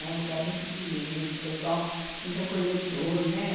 Era um lugar muito bonito, pessoal muito acolhedor, né?